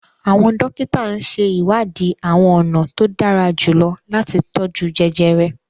Awọn dókítà n ṣe iwadi awọn ọna to dara julọ lati tọju jẹjẹrẹ